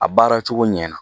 A baaracogo ɲɛna